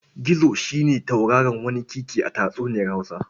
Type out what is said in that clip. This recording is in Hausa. Gizo shi ne tauraro waniƙiƙi a tatsuniyar Hausa.